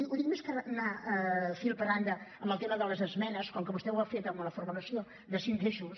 ho dic perquè més que anar fil per randa en el tema de les esmenes com que vostè ho ha fet amb la formulació de cinc eixos